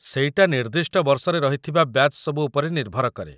ସେଇଟା ନିର୍ଦ୍ଦିଷ୍ଟ ବର୍ଷରେ ରହିଥିବା ବ୍ୟାଚ୍ ସବୁ ଉପରେ ନିର୍ଭର କରେ ।